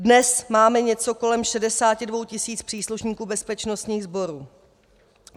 Dnes máme něco kolem 62 tisíc příslušníků bezpečnostních sborů.